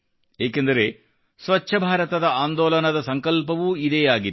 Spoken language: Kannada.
ಏಕೆಂದರೆ ಸ್ವಚ್ಛ ಭಾರತದ ಆಂದೋಲನದ ಸಂಕಲ್ಪವೂ ಇದೇ ಆಗಿತ್ತು